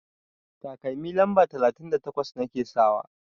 Takalmi lamba talatin da takwas nake sakawa.